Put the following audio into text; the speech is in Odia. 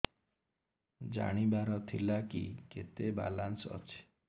ଜାଣିବାର ଥିଲା କି କେତେ ବାଲାନ୍ସ ଅଛି